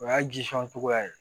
O y'a jisɔn cogoya ye